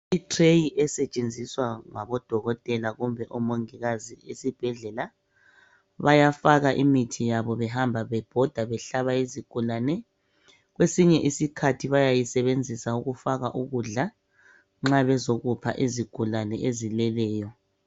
I"tray" esetshenziswa ngodokotela kumbe omongikazi esibhedlela bayafaka imithi yabo behamba bebhoda behlaba izigulane kwesinye isikhathi bayayisebenzisa ukufaka ukudla nxa bezokupha izigulane ezileleyo.